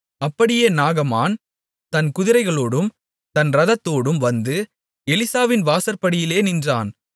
அப்படியே நாகமான் தன் குதிரைகளோடும் தன் இரதத்தோடும் வந்து எலிசாவின் வாசற்படியிலே நின்றான்